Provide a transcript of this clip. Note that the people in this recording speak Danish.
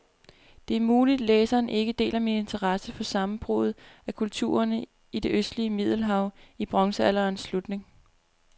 Det er muligt, læseren ikke deler min interesse for sammenbruddet af kulturerne i det østlige middelhav i bronzealderens slutning.